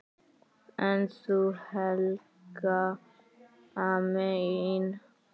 En þú, Helga mín?